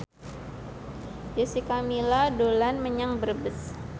Jessica Milla dolan menyang Brebes